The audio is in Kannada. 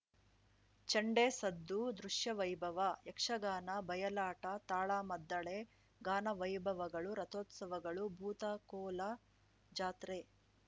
ಚಂಡೆ ಸದ್ದು ದೃಶ್ಯವೈಭವ ಯಕ್ಷಗಾನ ಬಯಲಾಟ ತಾಳಮದ್ದಳೆ ಗಾನವೈಭವಗಳು ರಥೋತ್ಸವಗಳು ಭೂತಕೋಲ ಜಾತ್ರೆ